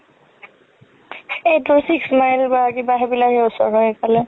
এইবোৰ six mile বা কিবা সেইবিলাকে ওচৰ হয় সেইফালে